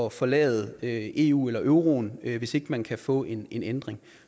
at forlade eu eller euroen hvis ikke man kan få en ændring